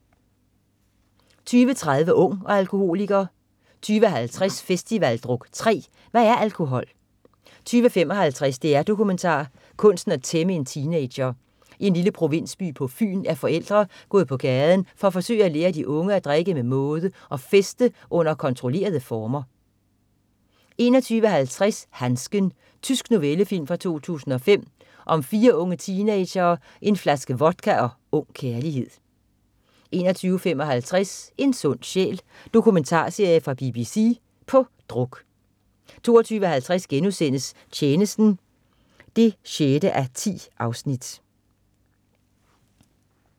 20.30 Ung og alkoholiker 20.50 Festivaldruk 3. "Hvad er alkohol"? 20.55 DR-Dokumentar. Kunsten at tæmme en teenager. I en lille provinsby på Fyn er forældre gået på gaden for at forsøge at lære de unge at drikke med måde og feste under kontrollerede former 21.50 Handsken. Tysk novellefilm fra 2005. Om fire unge teenagere, en flaske vodka og ung kærlighed 21.55 En sund sjæl ... Dokumentarserie fra BBC. "På druk" 22.50 Tjenesten 6:10*